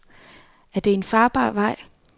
Er det en farbar vej?